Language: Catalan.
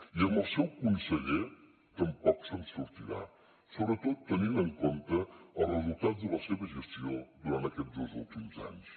i amb el seu conseller tampoc se’n sortirà sobretot tenint en compte els resultats de la seva gestió durant aquests dos últims anys